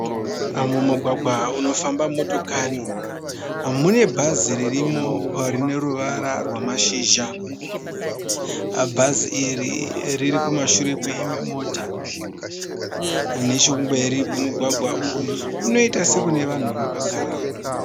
Mumugwagwa unofamba motokari mune bhazi ririmo rine ruvara rwamashizha. Bhazi iri riri kumashure kweimwe mota. Nechekumberi kwemugwagwa uyu kunoita sekune vanhu vakagarako.